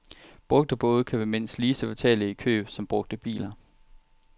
Brugte både kan være mindst lige så fatale i køb som brugte biler.